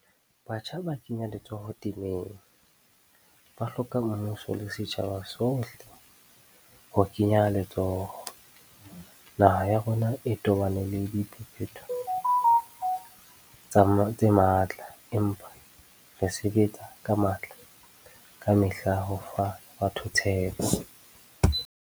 Batjha ba kenya letsoho temeng, ba hloka mmuso le setjhaba sohle ho kenya letsoho. Naha ya rona e tobane le diphephetso tse matla, empa re sebetsa ka matla kamehla ho fa batho tshepo.